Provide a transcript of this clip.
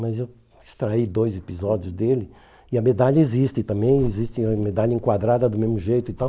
Mas eu extraí dois episódios dele e a medalha existe, também existe a medalha enquadrada do mesmo jeito e tal.